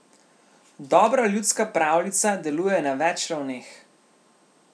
Dobra ljudska pravljica deluje na več ravneh.